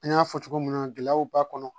An y'a fɔ cogo min na gɛlɛyaw b'a kɔnɔ